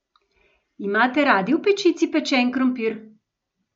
Imate radi v pečici pečen krompir?